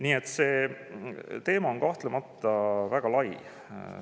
Nii et see teema on kahtlemata väga lai.